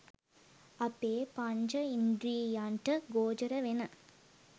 අපේ පංචඉන්ද්‍රියයන්ට ගෝචර වෙන